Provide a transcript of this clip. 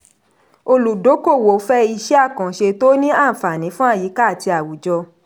olùdókòwò fẹ́ iṣẹ́ àkànṣe tó ní àǹfàní fún àyíká àti àwùjọ.